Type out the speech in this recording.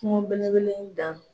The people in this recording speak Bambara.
Kungo bele bele in dan.